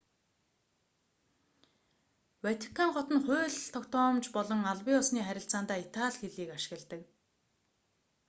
ватикан хот нь хууль тогтоомж болон албан ёсны харилцаандаа итали хэлийг ашигладаг